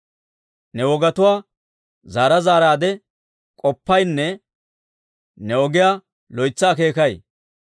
Ne wogatuwaa zaara zaaraadde k'oppaynne ne ogiyaa loytsa akeekay.